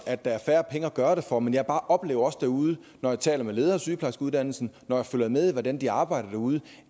at der er færre penge at gøre det for men jeg oplever bare også derude når jeg taler med ledere af sygeplejerskeuddannelsen og når jeg følger med i hvordan de arbejder derude